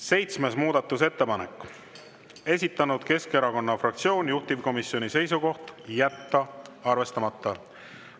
Seitsmes muudatusettepanek, esitanud Keskerakonna fraktsioon, juhtivkomisjoni seisukoht: jätta arvestamata.